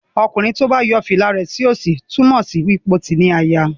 Okunrin tí o bá yo fìlà rẹ sí òsì túmò sí wípé o tí ní àyà.